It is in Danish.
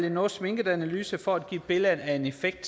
en noget sminket analyse for at give et billede af en effekt